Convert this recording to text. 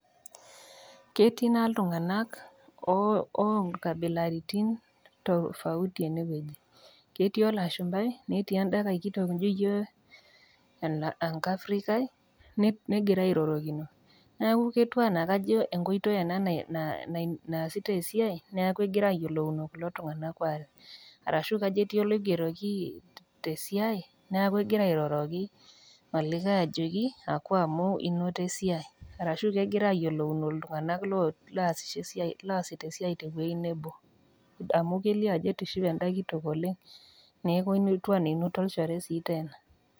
Ketii naa ltung'anak o o nkabilaitin tofauti enewueji ,ketii olashumbai netii endankai kitok nijo enkafrikai negira airorokino. Neaku ketiu anaa na enkoitoi ena naasitai esiai neaku egirai ayiolouno kulo tung'anak aare arashu kajo ketii oloigeroki tesiai neaku egira airoroki olikae ajoki wou amu inoto esiai arashu kegira ayiolouno ltung'anak logira loasita esiai tewuei nebo, amu kelio ajo etishipe enda kitok oleng' netiu anaa kinoto olchore sii tene.